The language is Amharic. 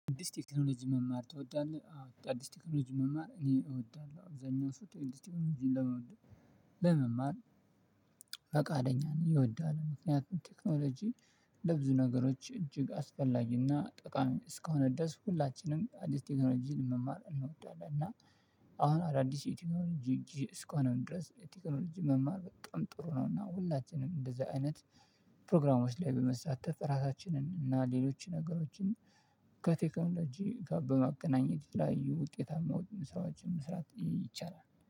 አዲስ ቴክኖሎጂ መማር ትወዳለህ? አዎ አዲስ ቴክኖሎጂ መማር እኔ እወዳለሁ አብዛኛው ሰዓት አዲስ ቴክኖሎጂ ለመውደድ ለመማር ፍቃደኛ ነው። ይወዳል ምክንያቱም ቴክኖሎጂ ለብዙ ነገሮች እጅግ አስፈላጊና ጠቃሚ እስከሆነ ድረስ። ሁላችንም አዲስ ቴክኖሎጂን ለመማር እንወዳለን። እና አሁን አዳዲስ የቴክኖሎጂ ስከሆንን ድረስ የቴክኖሎጂ መማር በጣም ጥሩ ነው። እና ሁላችንም እንደዛ አይነት ፕሮግራሞች ላይ በመሳተፍ ራሳችንን እና ሌሎች ነገሮችን ከቴክኖሎጂ ጋር በማገናኘት ላይ ውጤታማ የሆኑ ስራዎችን መስራት ይቻላል